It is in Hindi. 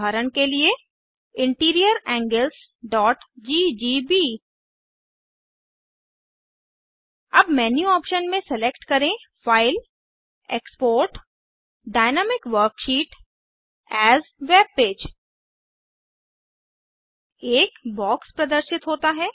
उदाहरण के लिए इंटीरियर anglesजीजीबी अब मेन्यू ऑप्शन में सेलेक्ट करें file export GT GT dynamic worksheet as webpage एक बॉक्स प्रदर्शित होता है